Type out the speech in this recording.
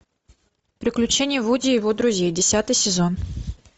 приключения вуди и его друзей десятый сезон